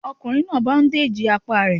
Ọkùnrin náà báúndèjì apá rẹ̀